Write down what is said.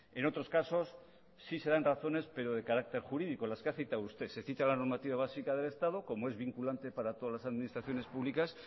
en otros casos sí se dan razones pero de carácter jurídico las que ha citado usted se cita la normativa básica del estado como es vinculante para todas las administraciones públicas